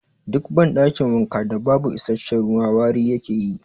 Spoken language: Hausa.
Duk ban ɗakin wanka da babu isasshen ruwa wari yake yi